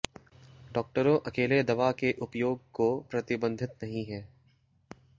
डॉक्टरों अकेले दवा के उपयोग को प्रतिबंधित नहीं है